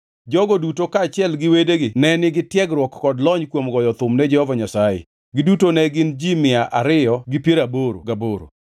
Jogo duto kaachiel gi wedegi ne nigi tiegruok kod lony kuom goyo thum ne Jehova Nyasaye, giduto ne gin ji mia ariyo gi piero aboro gaboro.